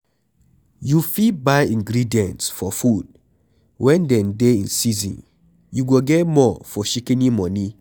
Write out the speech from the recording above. You fit buy ingredients for food when dem dey in season, you go get more for shikini money